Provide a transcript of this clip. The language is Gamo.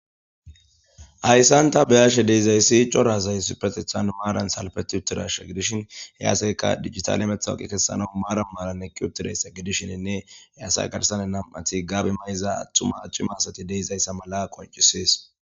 Hayssanta beyashe deizayssi corazay supetethan maaran salpeti uttirasha gidishin heyaaseyka digital emethawaqi kessana maaran malanne kiuptireysa gidishininne heyasay garsane nam'ati gaabi may'iza attuma accima asati deizayssa mala qoncisees.